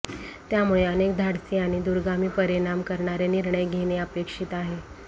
त्यामुळे अनेक धाडसी आणि दूरगामी परिणाम करणारे निर्णय घेणं अपेक्षीत आहे